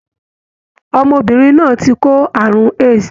Ọmọbìnrin náà ti kó ààrùn AIDs.